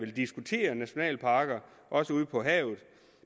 diskutere nationalparker også ude på havet